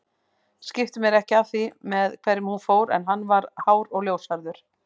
Skipti mér ekki af því með hverjum hún fór en hann var hár og ljóshærður